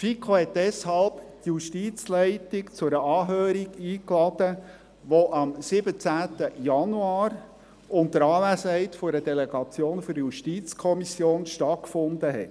Die FiKo hat deshalb die Justizleitung zu einer Anhörung eingeladen, die am 27. Januar unter Anwesenheit einer Delegation der JuKo stattgefunden hat.